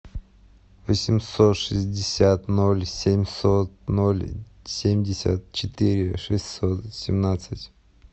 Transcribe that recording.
восемьсот шестьдесят ноль семьсот ноль семьдесят четыре шестьсот семнадцать